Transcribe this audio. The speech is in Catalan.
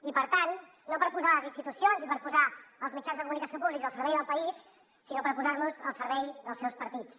i per tant no per posar les institucions i per posar els mitjans de comunicació públics al servei del país sinó per posar los al servei dels seus partits